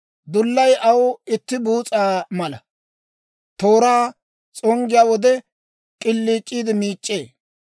Dullay aw itti buus'a mala; tooraa s'onggiyaa wode, k'iliic'iide miic'c'ee.